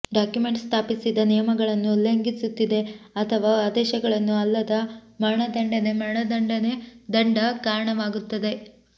document ಸ್ಥಾಪಿಸಿದ ನಿಯಮಗಳನ್ನು ಉಲ್ಲಂಘಿಸುತ್ತಿದೆ ಅಥವಾ ಆದೇಶಗಳನ್ನು ಅಲ್ಲದ ಮರಣದಂಡನೆ ಮರಣದಂಡನೆ ದಂಡ ಕಾರಣವಾಗುತ್ತದೆ